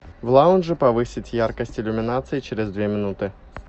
в лаунже повысить яркость иллюминации через две минуты